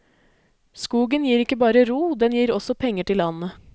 Skogen gir ikke bare ro, den gir også penger til landet.